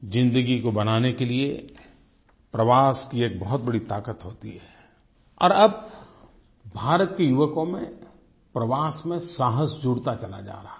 ज़िन्दगी को बनाने के लिए प्रवास की एक बहुत बड़ी ताकत होती है और अब भारत के युवकों में प्रवास में साहस जुड़ता चला जा रहा है